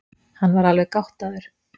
Hann var alveg gáttaður.